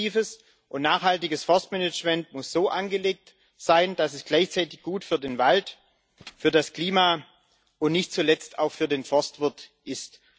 Ein aktives und nachhaltiges Forstmanagement muss so angelegt sein, dass es gleichzeitig gut für den Wald, für das Klima und nicht zuletzt auch für den Forstwirt ist.